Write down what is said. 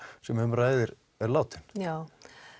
sem um ræðir er látin já